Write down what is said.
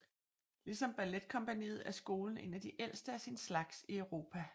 Ligesom balletkompagniet er skolen en af de ældste af sin slags i Europa